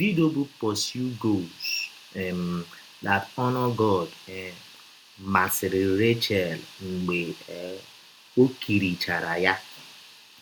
Vịdio bụ́ Pursue Goals um That Honor God um masịrị Rachel mgbe um ọ kirichara ya.